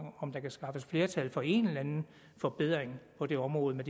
om der kan skaffes flertal for en eller anden forbedring på det område med